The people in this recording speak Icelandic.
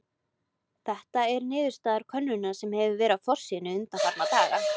Þetta er niðurstaða könnunar sem verið hefur á forsíðunni undanfarna daga.